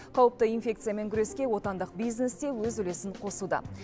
қауіпті инфекциямен күреске отандық бизнес те өз үлесін қосуда